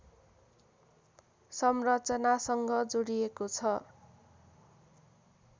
संरचनासँग जोडिएको छ